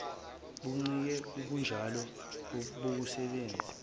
buncike kubunjalo bokusebenza